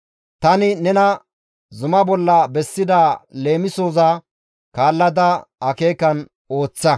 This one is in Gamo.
Tani nena zumaa bolla bessida leemisoza kaallada akeekan ooththa.